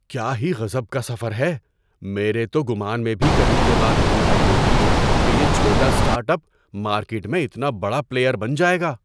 کیا ہی غضب کا سفر ہے! میرے تو گمان میں بھی کبھی یہ بات نہیں آئی ہوگی کہ یہ چھوٹا اسٹارٹ اپ مارکیٹ میں اتنا بڑا پلیئر بن جائے گا۔